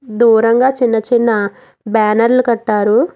దూరంగ చిన్న చిన్న బ్యానర్లు కట్టారు.